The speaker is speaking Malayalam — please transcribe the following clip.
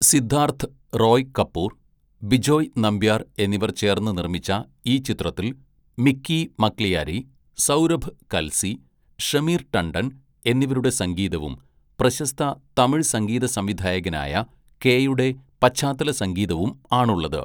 സിദ്ധാർത്ഥ് റോയ് കപൂർ, ബിജോയ് നമ്പ്യാർ എന്നിവർ ചേർന്ന് നിർമ്മിച്ച ഈ ചിത്രത്തിൽ മിക്കി മക്ലിയാരി, സൗരഭ് കൽസി, ഷമീർ ടണ്ടൻ എന്നിവരുടെ സംഗീതവും പ്രശസ്ത തമിഴ് സംഗീതസംവിധായകനായ കെയുടെ പശ്ചാത്തലസംഗീതവും ആണുള്ളത്.